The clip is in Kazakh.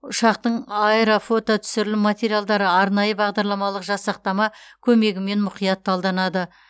ұшақтың аэрофототүсірілім материалдары арнайы бағдарламалық жасақтама көмегімен мұқият талданады